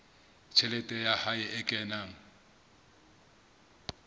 tjhelete ya hae e kenang